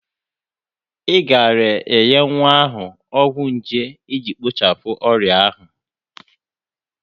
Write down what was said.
Ị gaara enye nwa ahụ ọgwụ nje iji kpochapụ ọrịa ahụ.